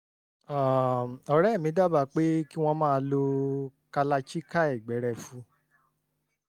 um ọ̀rẹ́ mi dábàá pé kí wọ́n máa lo kalachikai gbẹrẹfu